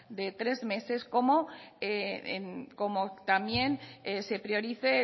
de tres meses como también se priorice